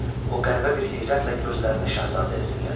O qəribə bir heyrətlə gözlərini şahzadəyə zillədi.